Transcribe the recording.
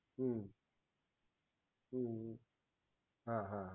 હમ હમ હા હા